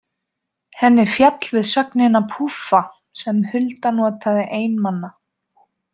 Henni féll við sögnina púffa sem Hulda notaði ein manna.